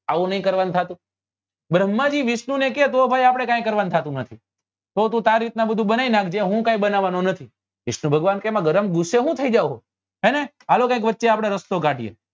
આવું નહિ કરવા નું થતું ભ્રમ્હા જી વિષ્ણુ ને કે તો ભાઈ આપડે કાઈ કરવા નું થતું નથી તો તું તાર રીત ના બધું બનાવી નાખજે હું કઈ બનાવવા નો નથી વિષ્ણુ ભગવાન કે એમાં ગરમ ગુસ્સે હું થઇ જાય હો હાલો કઈક વચ્ચે આપડે રસ્તો કાઢીએ